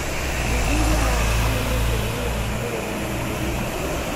ũthuthuria wa thakame nĩũkuonania maumĩrĩra ma mĩrimũ